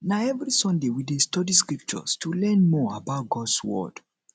na every sunday we dey study scriptures to learn more about gods word